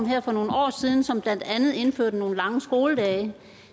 her for nogle år siden som blandt andet indførte nogle lange skoledage